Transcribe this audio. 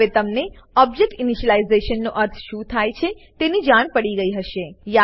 હવે તમને object initialisation નો અર્થ શું થાય છે તેની જાણ પડી ગઈ હશે